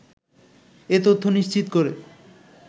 এ তথ্য নিশ্চিত করেন